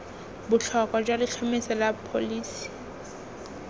botlhokwa jwa letlhomeso la pholisi